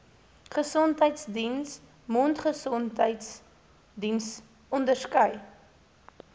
gesondheidsdiens mondgesondheidsdiens onderskei